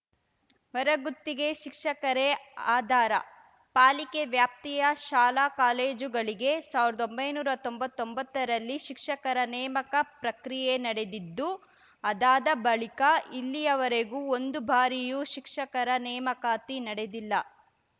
ಹೊರಗುತ್ತಿಗೆ ಶಿಕ್ಷಕರೇ ಆಧಾರ ಪಾಲಿಕೆ ವ್ಯಾಪ್ತಿಯ ಶಾಲಾಕಾಲೇಜುಗಳಿಗೆ ಸಾವಿರ್ದೊಂಬೈನೂರಾ ತೊಂಬತ್ತೊಂಬತ್ತರಲ್ಲಿ ಶಿಕ್ಷಕರ ನೇಮಕ ಪ್ರಕ್ರಿಯೆ ನಡೆದಿದ್ದು ಅದಾದ ಬಳಿಕ ಇಲ್ಲಿಯವರೆಗೂ ಒಂದು ಬಾರಿಯೂ ಶಿಕ್ಷಕರ ನೇಮಕಾತಿ ನಡೆದಿಲ್ಲ